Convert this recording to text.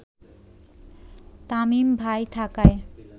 তামিম ভাই থাকায়